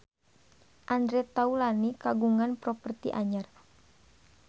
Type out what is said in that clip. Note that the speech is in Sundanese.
Andre Taulany kagungan properti anyar